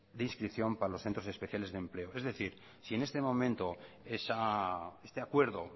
de inscripción para los centros especiales de empleo es decir si en este momento este acuerdo